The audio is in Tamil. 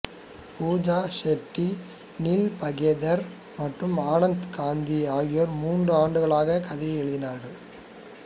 பூஜா ஷெட்டி நீல் பகேதர் மற்றும் ஆனந்த் காந்தி ஆகியோர் மூன்று ஆண்டுகளாக கதையை எழுதினார்கள்